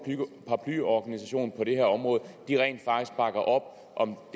paraplyorganisation på det her område rent faktisk bakker op om